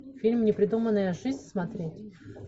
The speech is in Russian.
фильм не придуманная жизнь смотреть